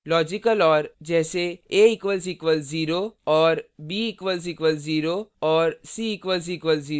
logical or